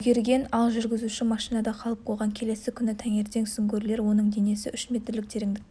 үлгерген ал жүргізуші машинада қалып қойған келесі күні таңертең сүңгуірлер оның денесін үш метрлік тереңдіктен